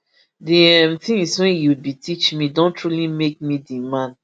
di um tins wey you bin teach me don truly make me di man